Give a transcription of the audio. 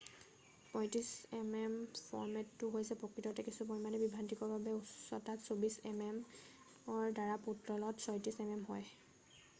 ৩৫mm ফৰ্মেটটো হৈছে প্ৰকৃততে কিছু পৰিমাণে বিভ্ৰান্তিকৰভাৱে উচ্চতাত ২৪mm ৰ দ্বাৰা পুতলত ৩৬mm হয়৷